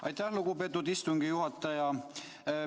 Aitäh, lugupeetud istungi juhataja!